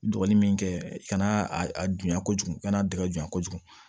Dɔgɔnin min kɛ kana a a dunya kojugu i kana dingɛ bonyan kojugu